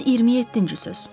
127-ci söz.